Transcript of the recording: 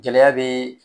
Gɛlɛya be